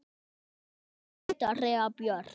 Þín alltaf, Andrea Björk.